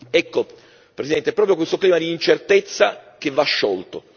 Ecco, Presidente, è proprio questo clima di incertezza che va sciolto.